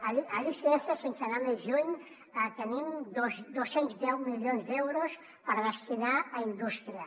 a l’icf sense anar més lluny tenim dos cents i deu milions d’euros per destinar a indústria